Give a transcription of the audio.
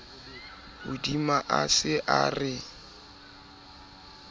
hodima a se a re